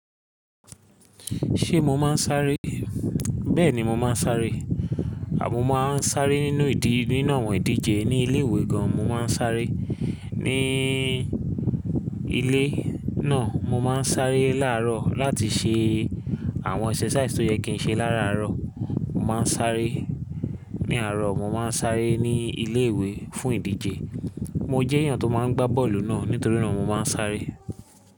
Ṣé mo máa ń sáré? Bẹ́ẹ̀ni mo máa ń sáré à mo máa ń sáré nínú ìdí, nínú àwọn ìdíje ní ilé ìwé gan. Mo máa ń sáré ní ilé náà. Mo máa ń sáré láàárọ̀ láti ṣe àwọn exercises tó yẹ kí n ṣe láràárọ̀. Mo máa ń sáré ní àárọ̀, mo máa ń sáré ní ilé ìwé fún ìdíje. Mo jẹ́ èèyàn tó máa ń gbá bọ́ọ̀lù náà nítorí náà mo máa ń sáré.